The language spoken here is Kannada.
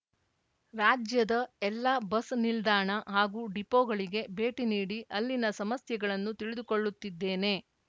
ರಾಜ್ಯದ ಎಲ್ಲಾ ಬಸ್‌ ನಿಲ್ದಾಣ ಹಾಗೂ ಡಿಪೋಗಳಿಗೆ ಭೇಟಿ ನೀಡಿ ಅಲ್ಲಿನ ಸಮಸ್ಯೆಗಳನ್ನು ತಿಳಿದುಕೊಳ್ಳುತ್ತಿದ್ದೇನೆ